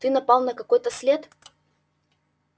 ты напал на какой-то след